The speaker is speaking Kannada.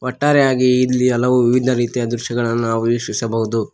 ಒಟ್ಟಾರೆಯಾಗಿ ಇಲ್ಲಿ ಹಲವು ವಿವಿಧ ರೀತಿಯ ದೃಶ್ಯಗಳನ್ನು ನಾವು ವೀಕ್ಷಿಸಬಹುದು.